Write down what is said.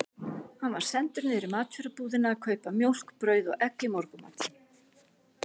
Hann var sendur niður í matvörubúðina að kaupa mjólk, brauð og egg í morgunmatinn.